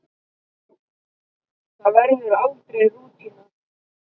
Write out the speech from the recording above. Það verður aldrei rútína.